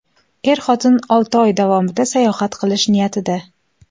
Er-xotin olti oy davomida sayohat qilish niyatida.